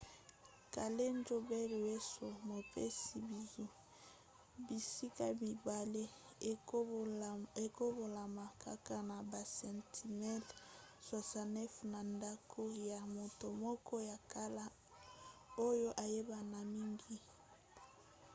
callejon del beso mopesi bizu. bisika mibale ekabolama kaka na basentimetele 69 na ndako ya moto moko ya kala oyo ayebana mingi